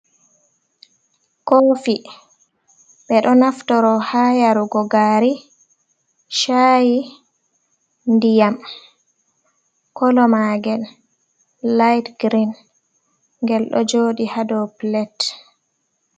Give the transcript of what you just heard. Koofi ɓe ɗo naftira haa yarugo gaari, caayi, ndiyam, kolomaagel laayit girin, ngel ɗo jooɗi haa ɗow pilet.